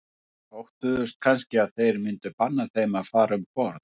Óttuðust kannski að þeir myndu banna þeim að fara um borð.